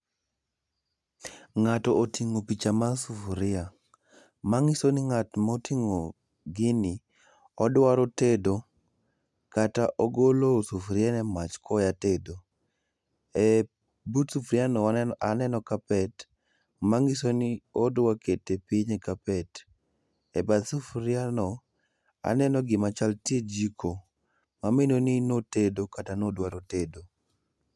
Ngato otingo picha mar sufria, mangiso ni ngato motingo gini odwa tedo kata ogolo sufria e mach koya tedo. But sufria no aneno carpet manyisno ni odwa kete piny e carpet. E bath sufria no aneno gima chal tie jiko mamino ni notedo kata nodwaro tedo